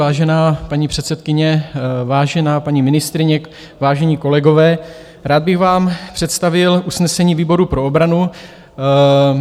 Vážená paní předsedkyně, vážená paní ministryně, vážení kolegové, rád bych vám představil usnesení výboru pro obranu.